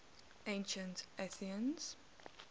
ancient athenians